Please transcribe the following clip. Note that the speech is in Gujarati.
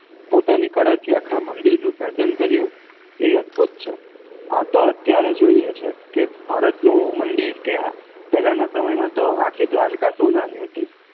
પોતાની કળા થી આખા મદિર નું સર્જન કર્યું એ અદ્ભુત છ આ તો અત્યારે જોઈ એ છે કે ભારત નું મદિર કે હા પેલાના સમય માં તો આખી દ્વારકા સોનાની હતી